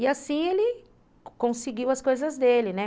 E assim ele conseguiu as coisas dele, né?